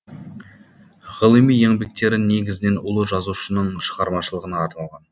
ғылыми еңбектері негізінен ұлы жазушының шығармашылығына арналған